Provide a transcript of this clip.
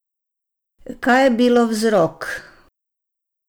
Kaj je bilo vzrok?